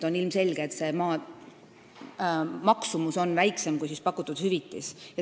On ilmselge, et selle maa maksumus on väiksem kui pakutud hüvitis.